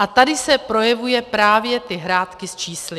A tady se projevují právě ty hrátky s čísly.